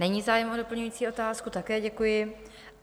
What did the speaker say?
Není zájem o doplňující otázku, také děkuji.